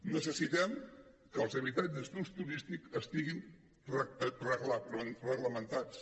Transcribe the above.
necessitem que els habitatges d’ús turístic estiguin reglamentats